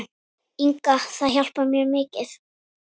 Inga Það hjálpar mjög mikið.